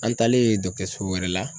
An taalen so wɛrɛ la